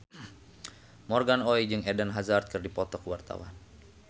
Morgan Oey jeung Eden Hazard keur dipoto ku wartawan